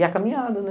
E a caminhada, né?